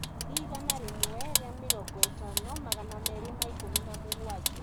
ngiri igana rĩmwe ria mĩrongo ĩtano magana merĩ ma ikumi na mũgwanja